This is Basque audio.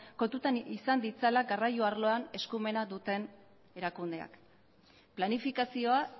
kontutan izan ditzala garraio arloan eskumena duten erakundeak planifikazioa